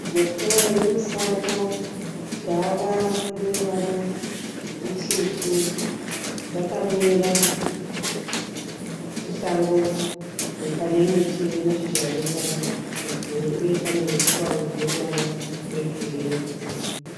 Mhuka yomusango. Gava rine ruvara rutsvuku. Rakamira musango pane miti ine mashizha aneruvara rwegirinhi uye pane huswa hune ruvara rwegirinhi.